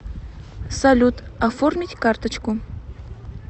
салют оформить карточку